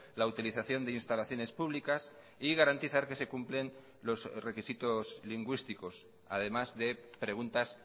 la utilización de instalaciones públicas y garantizar que se cumplen los requisitos lingüísticos además de preguntas